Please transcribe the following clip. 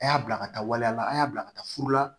A y'a bila ka taa waliya la a y'a bila ka taa furu la